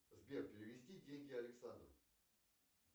сбер перевести деньги александру